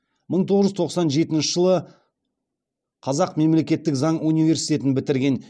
мың тоғыз жүз тоқсан жетінші жылы қазақ мемлекеттік заң университетін бітірген